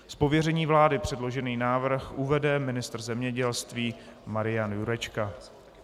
Z pověření vlády předložený návrh uvede ministr zemědělství Marian Jurečka.